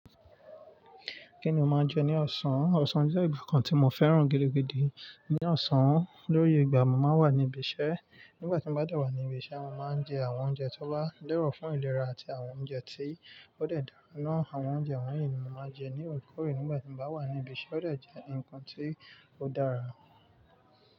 Kí ni mo máa jẹ ní ọ̀sán? Ọ̀sán jẹ́ ìgbà kan tí mo fẹ́ràn gidi gidi. Ni ọ̀sán, lo ye ìgbà mo máa ń wà ní ibi iṣẹ́. Nígbà tí mo bá de wà ní ibi iṣẹ́, mo máa ń jẹ àwọn oúnjẹ tó wá lẹ́rọ̀ fún ìlera àti àwọn oúnjẹ tí ó dẹ̀ dára náà. Àwọn oúnjẹ wọ̀nyí ni mo máa jẹ ní orekore nígbà tí mo bá wà ní ibi iṣẹ́. Ó de jẹ́ ǹnkan tí ó dára.